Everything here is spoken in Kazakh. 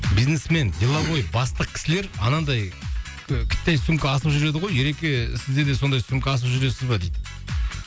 бизнесмен деловой бастық кісілер анандай і кіттай сумка асып жүреді ғой ереке сізде де сондай сумка асып жүресіз бе дейді